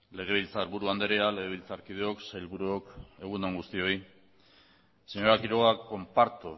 legebiltzarburu andrea legebiltzarkideok sailburuok egun on guztioi señora quiroga comparto